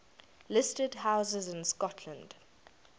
listed houses in scotland